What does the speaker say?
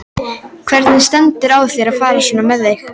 Hvernig stendur á þér að fara svona með þig?